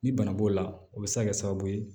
Ni bana b'o la o be se ka kɛ sababu ye